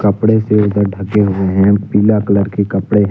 कपड़े से उधर ढके हुए हैं पिला कलर के कपड़े हैं।